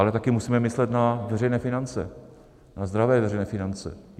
Ale taky musíme myslet na veřejné finance, na zdravé veřejné finance.